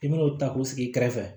I bɛn'o ta k'o sigi i kɛrɛfɛ